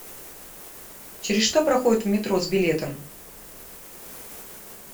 через что проходят в метро с билетом